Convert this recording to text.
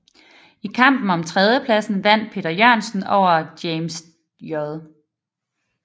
I kampen om tredjepladsen vandt Peter Jørgensen over James J